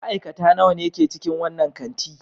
Ma'aikata nawa ne ke cikin wannan kanti?